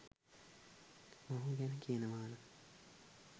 මොහු ගැන කියනවනනම්